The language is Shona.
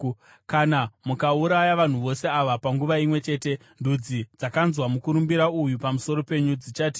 Kana mukauraya vanhu vose ava panguva imwe chete, ndudzi dzakanzwa mukurumbira uyu pamusoro penyu dzichati,